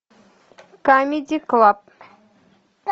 камеди клаб